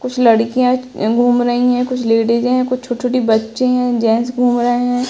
कुछ लडकियां अ घूम रही हैं। कुछ लेडीजे हैं। कुछ छोटी-छोटी बच्चे हैं। जेंट्स घूम रहे हैं।